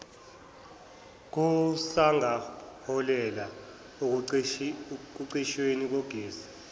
kusangaholela ekucishweni kukagesi